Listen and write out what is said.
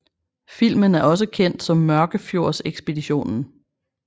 Filmen er også kendt som Mørkefjordsekspeditionen